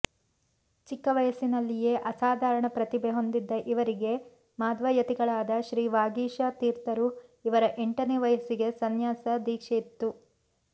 ಚಿಕ್ಕವಯಸ್ಸಿನಲ್ಲಿಯೇ ಅಸಾಧಾರಣ ಪ್ರತಿಭೇ ಹೊಂದಿದ್ದ ಇವರಿಗೆ ಮಾಧ್ವಯತಿಗಳಾದ ಶ್ರೀ ವಾಗೀಶ ತೀರ್ಥರು ಇವರ ಎಂಟನೇ ವಯಸ್ಸಿಗೆ ಸನ್ಯಾಸ ದೀಕ್ಷೆಯಿತ್ತು